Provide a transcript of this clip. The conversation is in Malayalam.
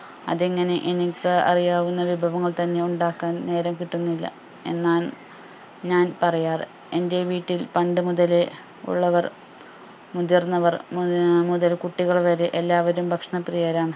അതെങ്ങനെ എനിക്ക് അറിയാവുന്ന വിഭവങ്ങൾ തന്നെ ഉണ്ടാക്കാൻ നേരം കിട്ടുന്നില്ല എന്നാണ് ഞാൻ പറയാറ് എന്റെ വീട്ടിൽ പണ്ടുമുതലേ ഉള്ളവർ മുതിർന്നവർ മു ആഹ് മുതൽ കുട്ടികൾ വരെ എല്ലാവരും ഭക്ഷണപ്രിയരാണ്